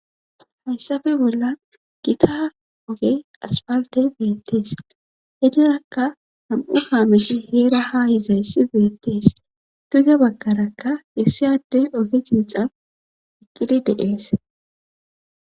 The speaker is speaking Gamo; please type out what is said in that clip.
Hayssafe bolla gitaa oge aspalte beettees henirakka ham7u haamesi heera ha hizayssi beettees tuge bakarakka issiyadde oge jiixan iqqidi deees